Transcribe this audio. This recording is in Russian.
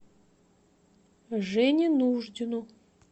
жене нуждину